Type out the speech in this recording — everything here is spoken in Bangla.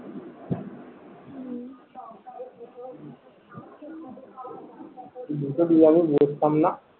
দুশো দুইয়ে আমি বসতাম নাহ